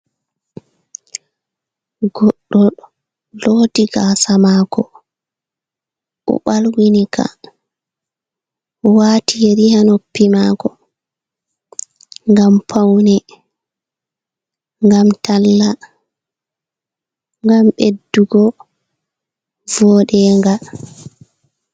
Goɗɗo loti gasa mako o'ɓalwini ka, wati yeri ha noppi mako ngam paune, ngam talla, ngam ɓeddugo voɗenga.